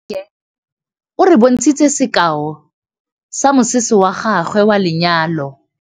Nnake o re bontshitse sekaô sa mosese wa gagwe wa lenyalo.